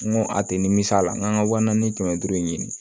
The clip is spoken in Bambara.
N ko a tɛ nimisi a la n k'an ka wa naani kɛmɛ duuru in ɲini